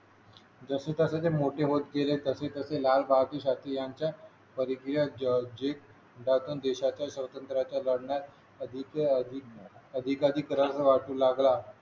जसे जसे ते मोठे होत गेले तसे तसे लाल बहादुर शास्त्री यांच्या हरी क्रियेत जे देशाच्या स्वातंत्र्याच्या लढण्यात अधिक अधिक अधिक अधिक रस वाटू लागला